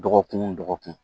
Dɔgɔkun o dɔgɔkun